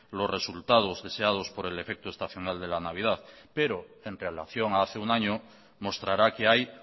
los resultados deseados por el efecto estacional de la navidad pero en relación a hace un año mostrará que hay